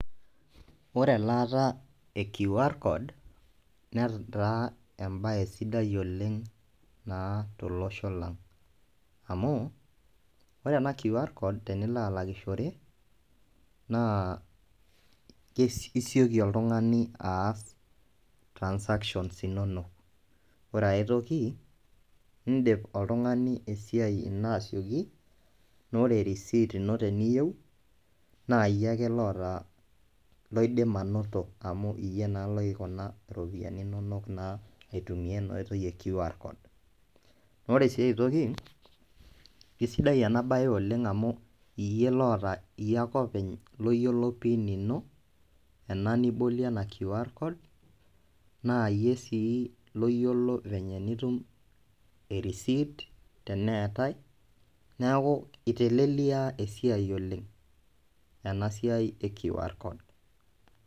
Ore elaata e QR code netaa embaye sidai oleng naa tolosho lang amu ore ena Qr code naalakishore naa isioki oltung'ani aas transactions inonok ore aaitoki indiip oltung'ani esiai ino aasioki naa ore e receipt ino teniyieu naa iyie ake loota loidim anoto amu iyie naa loikuna iropiyiani inonok aitumia ina oitoi e QR code naa ore sii ai toki isidai ena baye oleng amu iyie ake loyiolo pin ino ena libolie ena QR code naa iyie sii loyiolo venye nitum e receipt teneetai neeku eitelelia esiai oleng ena siai e QR code